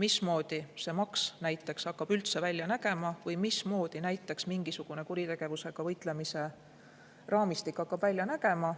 mismoodi see maks näiteks hakkab üldse välja nägema või mismoodi näiteks mingisugune kuritegevusega võitlemise raamistik hakkab välja nägema.